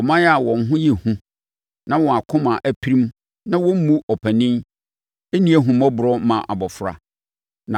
ɔman a wɔn ho yɛ hu na wɔn akoma apirim na wɔmmu ɔpanin, nni ahummɔborɔ ma abɔfra.